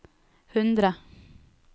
hundre